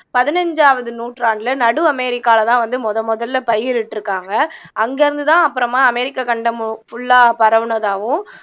பதினஞ்சாவது நூற்றாண்டுல நடு அமெரிக்காலதான் வந்து முதல் முதல்ல பயிரிட்டுருக்காங்க அங்க இருந்துதான் அப்புறமா அமெரிக்கா கண்டம் full ஆ பரவுனதாவும்